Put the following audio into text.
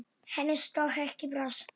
Henni stökk ekki bros.